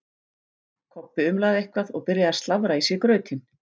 Kobbi umlaði eitthvað og byrjaði að slafra í sig grautinn.